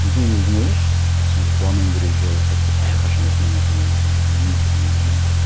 и сен өзің ойлашы сен қуануың сәтте әрқашан осындай нәрсені ойласаң мхм сен өмір сүруің мүмкін емес қой